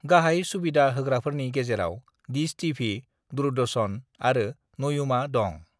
"गाहाय सुबिदा होग्राफोरनि गेजेराव डिश टिभि, दुरदर्शन आरो नयुमा दं।"